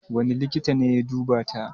Wane likita ne ya duba ta?